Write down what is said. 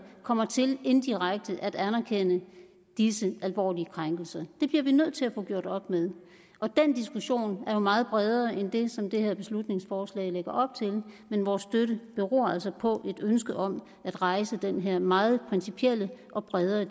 kommer til indirekte at anerkende disse alvorlige krænkelser det bliver vi nødt til at få gjort op med og den diskussion er jo meget bredere end den som det her beslutningsforslag lægger op til men vores støtte beror altså på et ønske om at rejse den her meget principielle og bredere